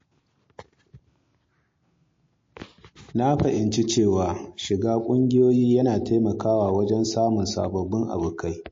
Na fahimci cewa shiga cikin ƙungiyoyi yana taimakawa wajen samun sababbin abokai.